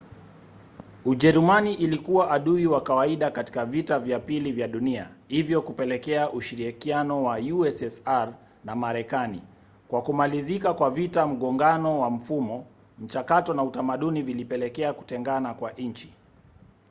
ujerumani ilikuwa adui wa kawaida katika vita vya pili vya dunia hivyo kupelekea ushirikiano wa ussr na marekani. kwa kumalizika kwa vita mgongano wa mfumo mchakato na utamaduni vilipelekea kutengana kwa nchi